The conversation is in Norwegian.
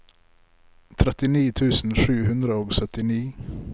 trettini tusen sju hundre og syttini